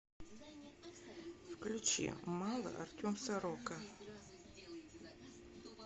включи мало артем сорока